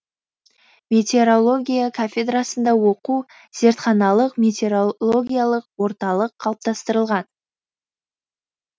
метеорология кафедрасында оқу зертханалық метеорологиялық орталық қалыптастырылған